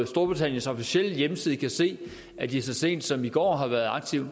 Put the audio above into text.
storbritanniens officielle hjemmeside kan se at de så sent som i går har været aktive